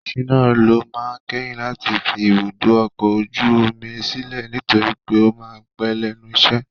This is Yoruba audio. Shina ló máa kẹ́yìn láti fi ibùdó ọkọ̀ ojú omi sílẹ̀ nitori pe o máa pẹ́ lẹ́nu iṣẹ́.